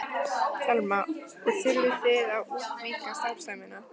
Telma: Og þurfið þið að útvíkka starfsemina?